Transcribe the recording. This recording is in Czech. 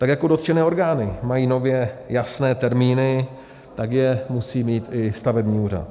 Tak jako dotčené orgány mají nově jasné termíny, tak je musí mít i stavební úřad.